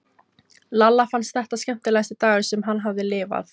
Lalla fannst þetta skemmtilegasti dagur sem hann hafði lifað.